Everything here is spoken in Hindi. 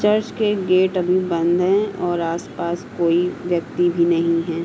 चर्च के गेट अभी बंद हैं और आसपास कोई व्यक्ति भी नहीं है।